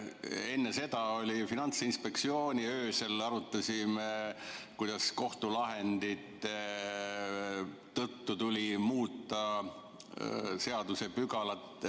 Enne seda oli Finantsinspektsiooni teema, öösel arutasime, kuidas kohtulahendite tõttu tuli muuta seadusepügalat.